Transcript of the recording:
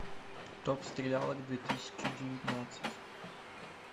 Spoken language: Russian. топ стрелялок две тысячи девятнадцать